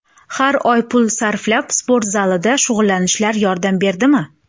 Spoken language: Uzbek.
Har oy pul sarflab, sport zalida shug‘ullanishlar yordam berdimi?